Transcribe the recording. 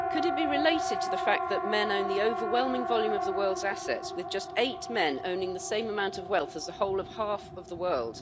Could it be related to the fact that men own the overwhelming volume of the world's assets, with just eight men owning the same amount of wealth as the whole of half of the world?